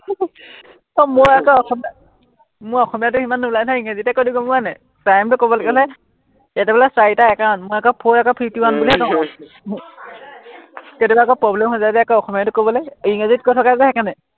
আহ মই আক অসমীয়াত মই অসমীয়াতো সিমান নোলায় নহয়, ইংৰাজীতে কৈ দিও গম পোৱা নাই। time টো কবলগীয়া হলে হম এতিয়া বোলে চাৰিটা একাৱন, মই আক four আক fifty one বুলিহে কম আও কেতিয়াবা আক problem হৈ যায় যে আক অসমীয়াটো কবলে, ইংৰাজীত কৈ থকা যে সেইকাৰনে